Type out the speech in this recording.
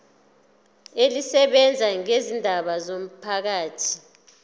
elisebenza ngezindaba zomphakathi